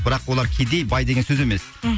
бірақ олар кедей бай деген сөз емес мхм